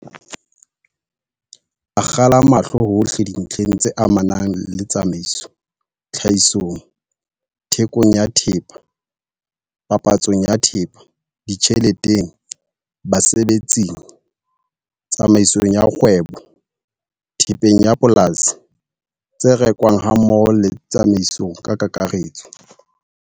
Akgela mahlo hohle dintlheng tse amanang le tsamaiso - tlhahisong, thekong ya thepa, papatsong ya thepa, ditjheleteng, basebetsing, tsamaisong ya kgwebo, thepeng ya polasi, tse rekwang hammoho le tsamaiso ka kakaretso.